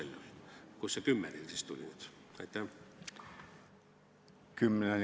Kust see kell kümme teil siis nüüd tuli?